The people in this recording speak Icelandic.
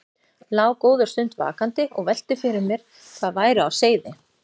Lá góða stund vakandi og velti fyrir mér hvað væri á seyði.